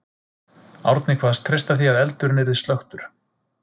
Árni kvaðst treysta því að eldurinn yrði slökktur.